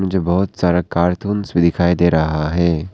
जो बहोत सारा कार्टूंस भी दिखाई दे रहा है।